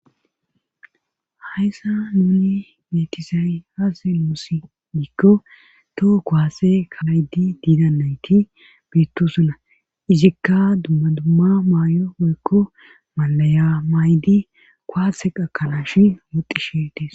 Hayssa nuni metisay haze loosi diikko toho kowaase kamaydi diidannayti biittosuna izikka dummadumma maay7o oykko malaya maydi kuwaase qakalash woxxi shetees.